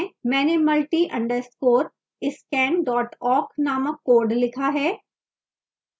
मैंने multi _ scan awk named code लिखा है